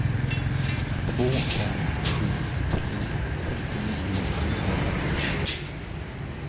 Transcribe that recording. två fem sju tre femtionio sjuhundrafemtiofyra